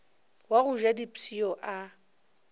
wa go ja dipshio a